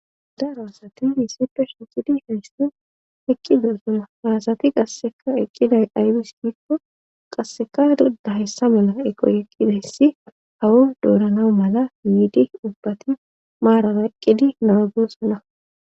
darosati yissipe shincidi heystan eqki goosama haasati qasseka eqqiday aybis gikko qasseka dudda hessa mela eqoy eqqideyssi hawu doorana mala yiidi ubbati maaraa eqqidi naagoossana